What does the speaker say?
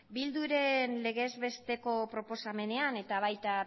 bilduren legezbesteko proposamenean eta baita